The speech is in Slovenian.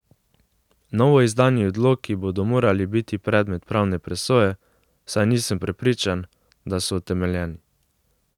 Novoizdani odloki bodo morali biti predmet pravne presoje, saj nisem prepričan, da so utemeljeni.